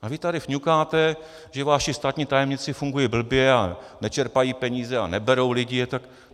A vy tady fňukáte, že vaši státní tajemníci fungují blbě a nečerpají peníze a neberou lidi.